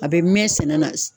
A be mɛn sɛnɛ na